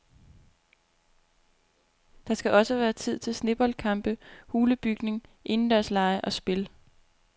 Der skal også være tid til sneboldkampe, hulebygning, indendørslege og spil.